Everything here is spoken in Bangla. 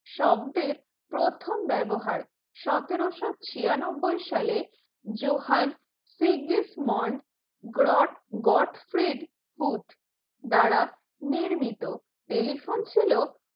শব্দের প্রথম ব্যবহার সতেরোশো ছিয়ানব্বই সালে জোহান ফিগ্রীষ্মণ গড ফ্রেডফুড দ্বারা নির্মিত telephone ছিল